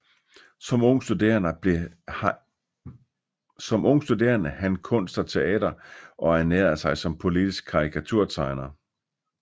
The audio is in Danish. Som ung studerede han kunst og teater og ernærede sig som politisk karikaturtegner